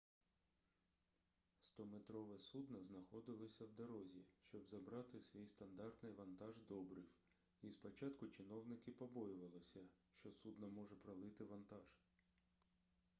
100-метрове судно знаходилося в дорозі щоб забрати свій стандартний вантаж добрив і спочатку чиновники побоювалися що судно може пролити вантаж